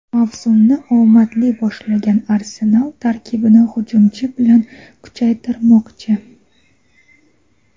Mavsumni omadli boshlagan "Arsenal" tarkibini hujumchi bilan kuchaytirmoqchi;.